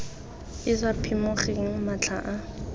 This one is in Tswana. e sa phimogeng matlha a